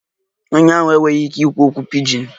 Onye ahụ enweghị ike ikwu okwu pidgin